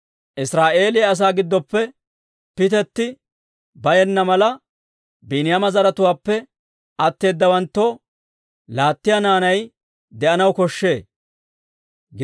Israa'eeliyaa asaa giddoppe pitetti bayenna mala, Biiniyaama zaratuwaappe atteedawaanttoo laattiyaa naanay de'anaw koshshee.